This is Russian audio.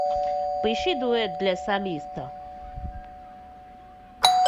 поищи дуэт для солиста